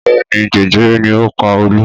Bẹ́ẹ̀ ni, jẹjẹrẹ ni ó pa Olú.